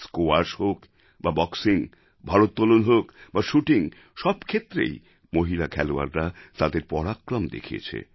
squash হোক বা boxing ভারোত্তলন হোক বা শ্যুটিং সব ক্ষেত্রেই মহিলা খেলোয়াড়রা তাদের পরাক্রম দেখিয়েছে